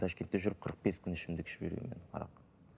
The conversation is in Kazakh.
ташкентте жүріп қырық бес күн ішімдік ішіп жүргенмін мен арақ